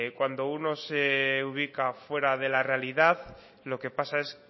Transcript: cuando uno se ubica fuera de la realidad lo que pasa es